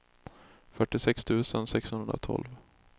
fyrtiosex tusen sexhundratolv